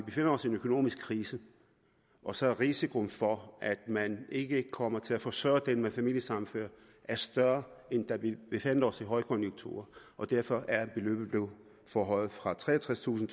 en økonomisk krise og så er risikoen for at man ikke kommer til at forsørge den der bliver familiesammenført større end da vi befandt os i en højkonjunktur og derfor er beløbet blevet forhøjet fra treogtredstusind